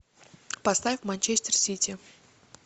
поставь манчестер сити